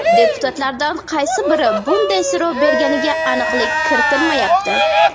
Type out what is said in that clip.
Deputatlardan qaysi biri bunday so‘rov berganiga aniqlik kiritilmayapti.